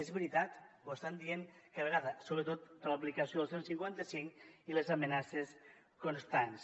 és veritat ho estan dient cada vegada sobretot per l’aplicació del cent i cinquanta cinc i les amenaces constants